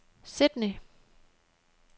Sydney